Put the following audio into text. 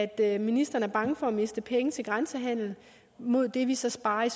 at ministeren er bange for at miste penge til grænsehandel mod det vi så sparer i